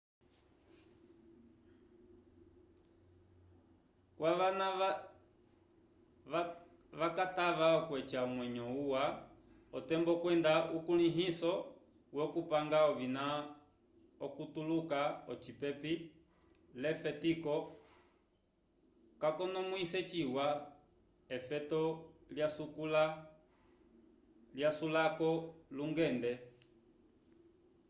kwavana vakatava okweca omwenyo uwa otembo kwenda ukulĩhiso wokupanga ovina okutuluka ocipepi l'efetiko kakonomwise ciwa efeto lyasulako lyungende